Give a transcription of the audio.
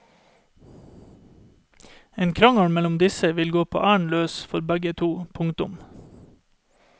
En krangel mellom disse vil gå på æren løs for begge to. punktum